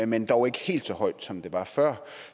men dog ikke helt så højt som det var før